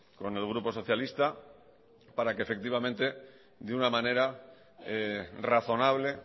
con el grupo socialista para que efectivamente de una manera razonable